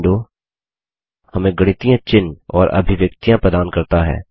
यह विंडो हमें गणितीय चिन्ह और अभिव्यक्तियाँ प्रदान करता है